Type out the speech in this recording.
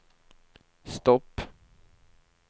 stopp